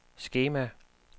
skema